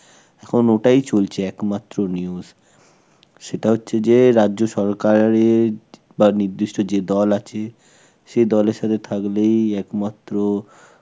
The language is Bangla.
এখন ওটাই চলছে একমাত্র news, সেটা হচ্ছে যে রাজ্য সরকারের বা নির্দিষ্ট যে দল আছে সে দলের সাথে থাকলেই একমাত্র